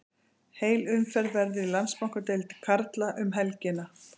Heil umferð verður í Landsbankadeild karla um helgina.